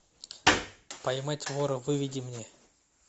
поймать вора выведи мне